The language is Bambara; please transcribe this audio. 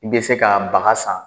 I bɛ se ka baga san,